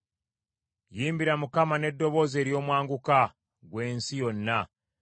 Yimbira Mukama n’eddoboozi ery’omwanguka, ggwe ensi yonna.